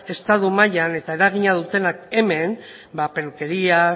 estatu mailan eta eragina dutenak hemen peluquerías